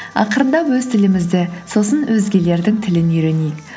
ақырындап өз тілімізді сосын өзгелердің тілін үйренейік